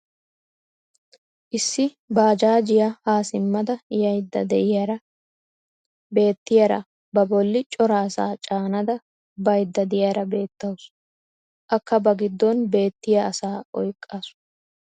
issi baajjaajjiya haa simmada yaydda diyaara beetiyaara ba boli cora asaa caanada baydda diyaara beetawusu. akka ba giddon beetiya asaa oykkaasu.